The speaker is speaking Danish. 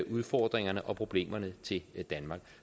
udfordringerne og problemerne til danmark